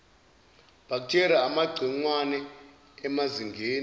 bacteria amagciwane emazingeni